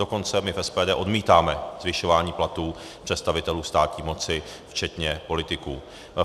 Dokonce my v SPD odmítáme zvyšování platů představitelů státní moci včetně politiků.